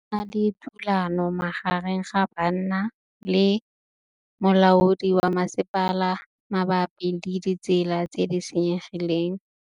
Go na le thulanô magareng ga banna le molaodi wa masepala mabapi le ditsela tse di senyegileng.